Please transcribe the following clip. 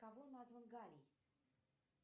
кого назван галий